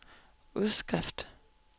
udskrift